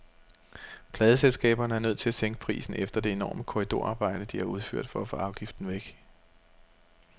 Pladeselskaberne er nødt til at sænke prisen efter det enorme korridorarbejde, de har udført for at få afgiften væk.